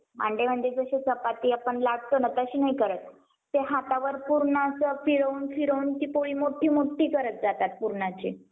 त्यानंतर भरपाई दिली जाते